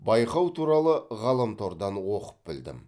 байқау туралы ғаламтордан оқып білдім